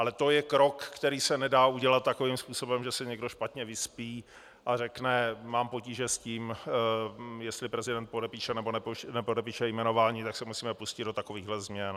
Ale to je krok, který se nedá udělat takovým způsobem, že se někdo špatně vyspí a řekne: mám potíže s tím, jestli prezident podepíše, nebo nepodepíše jmenování, tak se musíme pustit do takových změn.